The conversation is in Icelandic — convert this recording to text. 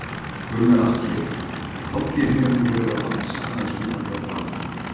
Gunnar Atli: Hátíðin hefur nú verið að vaxa aðeins undanfarin ár?